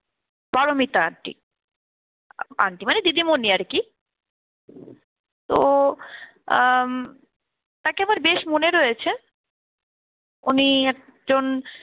Paromita aunty, aunty মানে দিদিমণি আর কি. তো উম তাকে আমার বেশ মনে রয়েছে উনি একজন